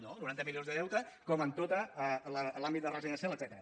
no noranta milions de deute com en tot l’àmbit de residències etcètera